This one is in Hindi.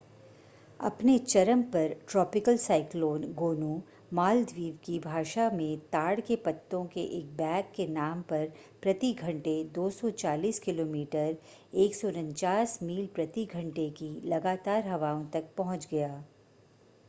अपने चरम पर ट्रॉपिकल साइक्लोन गोनू मालदीव की भाषा में ताड़ के पत्तों के एक बैग के नाम पर प्रति घंटे 240 किलोमीटर 149 मील प्रति घंटे की लगातार हवाओं तक पहुंच गया